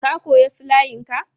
Ka koya su layin ka?